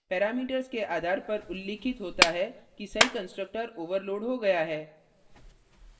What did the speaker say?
parameters के आधार पर उल्लिखित होता है कि सही constructor overloaded हो गया है